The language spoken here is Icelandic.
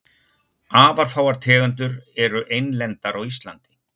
Afar fáar tegundir eru einlendar á Íslandi.